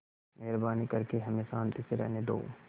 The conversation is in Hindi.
मेहरबानी करके हमें शान्ति से रहने दो